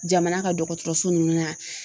Jamana ka dɔgɔtɔrɔso nunnu na